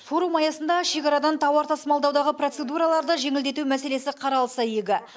форум аясында шекарадан тауар тасымалдаудағы процедураларды жеңілдету мәселесі қаралса игі